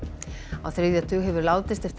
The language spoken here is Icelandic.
á þriðja tug hefur látist eftir